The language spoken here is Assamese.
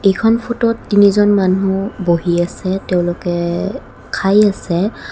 এইখন ফটো ত তিনিজন মানুহ বহি আছে তেওঁলোকে খাই আছে।